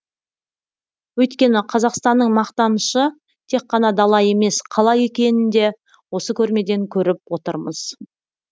өйткені қазақстанның мақтанышы тек қана дала емес қала екенінде осы көрмеден көріп отырмыз